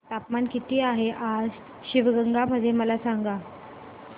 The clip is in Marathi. तापमान किती आहे आज शिवगंगा मध्ये मला सांगा